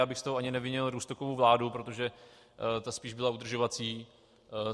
Já bych z toho ani nevinil Rusnokovu vládu, protože ta spíš byla udržovací.